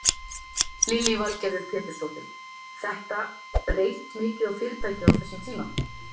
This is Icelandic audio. Lillý Valgerður Pétursdóttir: Þetta, reynt mikið á fyrirtækið á þessum tíma?